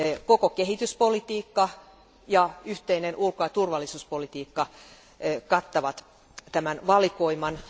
Koko kehityspolitiikka ja yhteinen ulko ja turvallisuuspolitiikka kattavat tämän valikoiman.